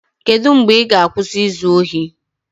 Kedu mgbe ị ga-akwụsị izu ohi?